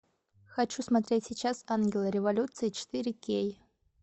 хочу смотреть сейчас ангелы революции четыре кей